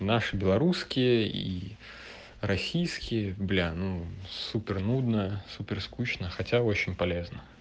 наши белорусские и российские бля ну супер нудная супер скучно хотя очень полезно